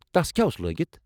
تس کیٛاہ اوس لٲگتھ؟